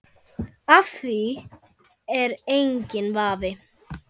Á því er enginn vafi.